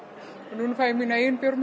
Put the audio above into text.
núna fæ ég mína eigin